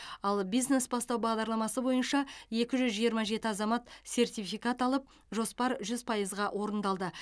ал бизнес бастау бағдарламасына бойынша екі жүз жиырма жеті азамат сертификат алып жоспар жүз пайызға орындалды